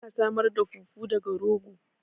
Ana samar da fufu daga rogo